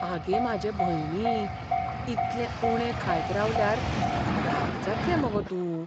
आगे म्हाजे भयणी, इतलें उणें खायत रावल्यार फ्राक जातलें मगो तूं.